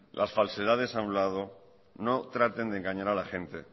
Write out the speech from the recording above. las falsedades a un lado no traten de engañar a la gente